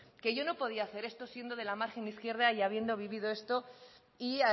que yo no podía hacer esto siendo de la margen izquierda y habiendo vivido esto y